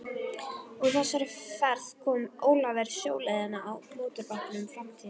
Úr þessari ferð kom Ólafur sjóleiðina á mótorbátnum Framtíðinni.